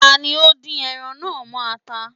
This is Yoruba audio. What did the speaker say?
Ta ni ó ńdín ẹran náà mọ́ ata?